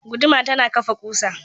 Guduma tana kafa ƙusa.